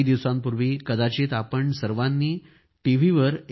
काही दिवसांपूर्वी कदाचित आपण सर्वांनी टी